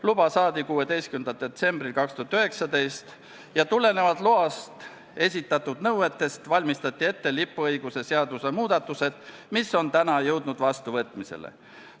Luba saadi 16. detsembril 2019 ja tulenevalt loas esitatud nõuetest valmistati ette laeva lipuõiguse seaduse muudatused, mis on täna jõudnud vastuvõtmisele.